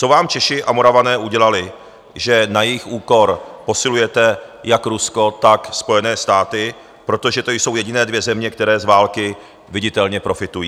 Co vám Češi a Moravané udělali, že na jejich úkor posilujete jak Rusko, tak Spojené státy, protože to jsou jediné dvě země, které z války viditelně profitují?